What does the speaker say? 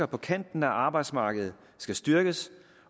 på kanten af arbejdsmarkedet skal styrkes